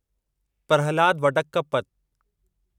Prahlad Vadakkapat